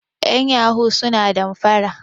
yan yahoo suna danfara